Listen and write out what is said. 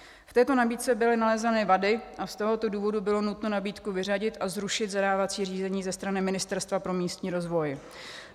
V této nabídce byly nalezeny vady a z tohoto důvodu bylo nutno nabídku vyřadit a zrušit zadávací řízení ze strany Ministerstva pro místní rozvoj.